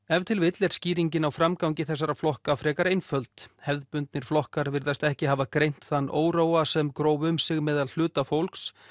ef til vill er skýringin á framgangi þessara flokka frekar einföld hefðbundnir flokkar virðast ekki hafa greint þann óróa sem gróf um sig meðal hluta fólks